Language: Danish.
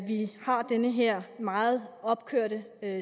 vi har den her meget opkørte